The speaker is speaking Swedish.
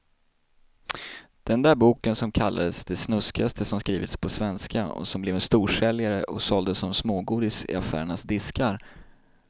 Den där boken som kallades det snuskigaste som skrivits på svenska och som blev en storsäljare och såldes som smågodis i affärernas diskar.